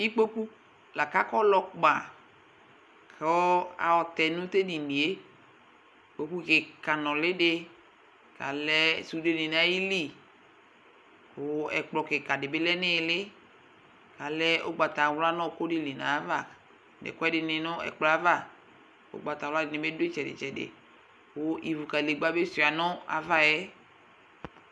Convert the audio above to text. Ikpoku lakakɔlɔ kpaKʋ ayɔ tɛ nʋ tedonieIkpoku kika nuli diKalɛ sude di nayiliKʋ ɛkplɔ kika dibi lɛ nayiili Kalɛ ugbatawla nʋ ɔɔkʋ dili nayava ,nʋ ekʋ edini nʋ ɛkplɔɛ'avaUgbatawla dini bi dʋ itsɛdi tsɛdiKʋ ivu kadegba bi suia nʋ ava yɛ